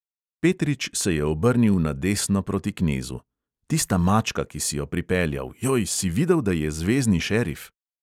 Petrič se je obrnil na desno proti knezu: "tista mačka, ki si jo pripeljal – joj, si videl, da je zvezni šerif?"